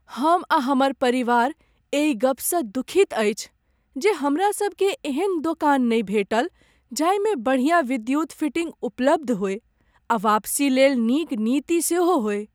हम आ हमर परिवार एहि गपसँ दुखित अछि जे हमरा सभकेँ एहन दोकान नहि भेटल जाहिमे बढ़िया विद्युत फिटिंग उपलब्ध होय आ वापसी लेल नीक नीति सेहो होय।